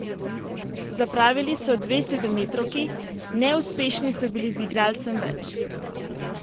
Zapravili so dve sedemmetrovki, neuspešni so bili z igralcem več.